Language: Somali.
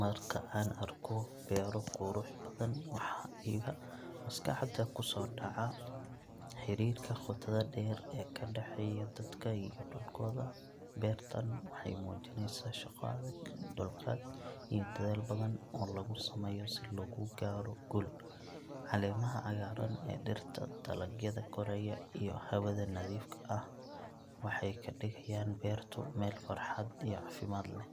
Marka aan arko beero qurux badan, waxa iga maskaxda ku soo dhaca xiriirka qotada dheer ee ka dhexeeya dadka iyo dhulkooda. Beertaan waxay muujinaysaa shaqo adag, dulqaad, iyo dadaal badan oo lagu sameeyo si loo gaaro guul. Caleemaha cagaaran ee dhirta, dalagyada koraya iyo hawada nadiifka ah waxay ka dhigayaan beertu meel farxad iyo caafimaad leh.